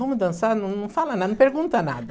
Vamos dançar, não não fala nada, não pergunta nada.